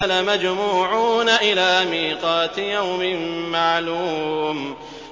لَمَجْمُوعُونَ إِلَىٰ مِيقَاتِ يَوْمٍ مَّعْلُومٍ